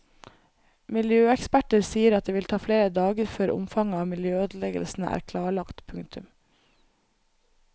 Miljøeksperter sier at det vil ta flere dager før omfanget av miljøødeleggelsene er klarlagt. punktum